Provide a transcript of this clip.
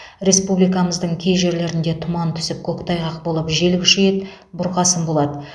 республикамыздың кей жерлерінде тұман түсіп көктайғақ болып жел күшейеді бұрқасын болады